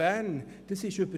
Bern [...]».